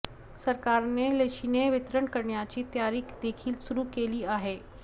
सरकारने लशीचे वितरण करण्याची तयारी देखील सुरू केली आहे